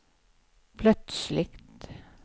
plötsligt